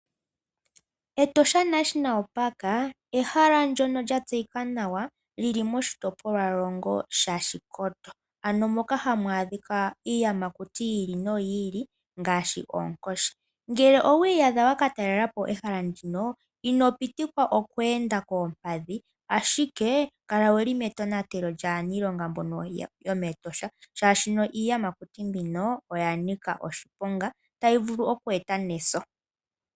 Etosha National Park ehala ndyono lya tseyika nawa lili moshitopolwa longo shashikoto, ano moka hamu adhika iiyamakuti yi ili noyi ili ngaashi oonkoshi. Ngele owi iyadha wakatalela po ehala ndino ino pitikwa okweenda koompadhi ashike kala wuli metonatelo lyaaniilonga mboka yomEtosha, shaashino iiyamakuti mbino oya nika oshiponga otayi vulu okweeta neso.